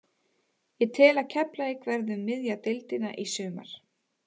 Ég tel að Keflavík verði um miðja deildina í sumar.